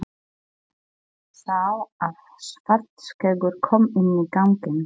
Sá að Svartskeggur kom inn á ganginn.